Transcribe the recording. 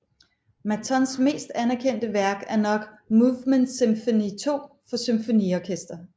Mattons mest anderkendte værk er nok Mouvement symphonique II for Symfoniorkester